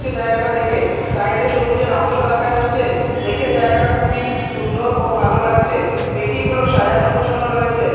জায়গাটা দেখে সাইড -এ সবুজের অংশ দেখা যাচ্ছে দেখে জায়গাটা খুবই সুন্দর ও ভালো লাগছে পেটিগুলো সাজানো গুছোনো রয়েছে।